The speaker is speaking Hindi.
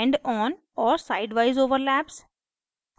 endon और sideवाइज overlaps